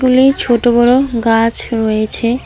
এই ছোট বড় গাছ রয়েছে